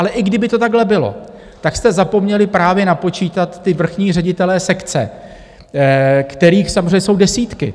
Ale i kdyby to takhle bylo, tak jste zapomněli právě napočítat ty vrchní ředitele sekce, kterých samozřejmě jsou desítky.